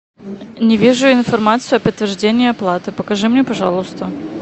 не вижу информацию о подтверждении оплаты покажи мне пожалуйста